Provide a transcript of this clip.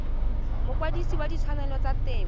mokwadise wa ditshwanelo tsa temo